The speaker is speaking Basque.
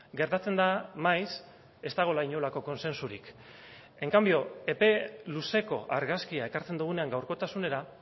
gertatzen da maiz ez dagoela inolako kontsentsurik en cambio epe luzeko argazkia ekartzen dugunean gaurkotasunera